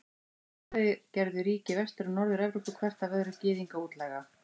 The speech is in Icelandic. Í kjölfarið gerðu ríki Vestur- og Norður-Evrópu hvert af öðru Gyðinga útlæga.